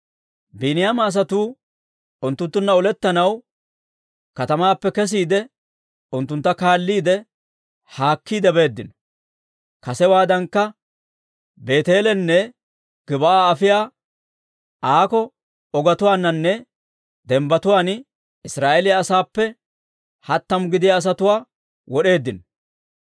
Biiniyaama asatuu unttunttunna olettanaw katamaappe kesiide, unttuntta kaalliide, haakkiide beeddino. Kasewaadankka Beeteelenne Gib'aa afiyaa aako ogetuwaaninne dembbatuwaan Israa'eeliyaa asaappe hattamu gidiyaa asatuwaa wod'eeddino.